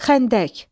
Xəndək.